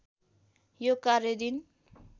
यो कार्य दिन